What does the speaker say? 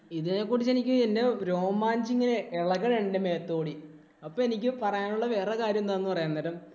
ഇതിനെ കുറിച്ച് എനിക്ക് എന്‍റെ രോമാഞ്ചം ഇങ്ങനെ എളകുന്നുണ്ട് ഇങ്ങനെ മേത്തൂ കൂടി. അപ്പൊ എനിക്ക് പറയാന്‍ ഉള്ള വേറൊരു കാര്യം എന്താന്നു പറയാം. അന്നേരം